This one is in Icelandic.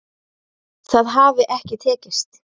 Það hafi ekki tekist